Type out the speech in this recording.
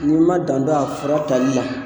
N'i ma dan don a fura tali la.